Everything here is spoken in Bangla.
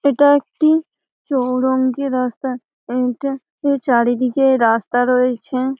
এটা একটি চৌরঙ্গী রাস্তা এটা এই চারিদিকে রাস্তা রয়েছে।